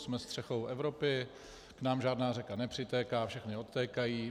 Jsme střechou Evropy, k nám žádná řeka nepřitéká, všechny odtékají.